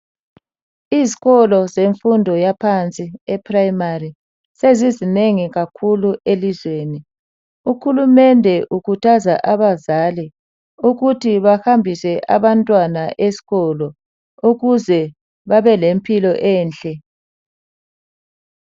Izikolo zemfundo yaphansi eprimary sezizinengi kakhulu elizweni uhulumende ukhuthaza abazali ukuth bahambise abantwana esikolo ukuze babelempilo enhle.